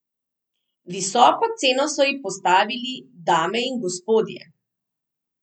Visoko ceno so ji postavili, dame in gospodje.